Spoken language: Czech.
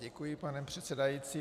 Děkuji, pane předsedající.